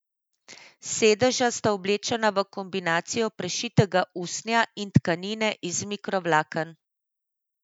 Sedeža sta oblečena v kombinacijo prešitega usnja in tkanine iz mikrovlaken.